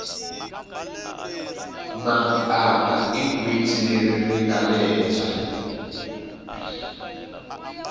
mapapa i gwitsi leri ringale hehla